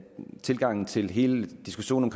tilgangen til hele diskussionen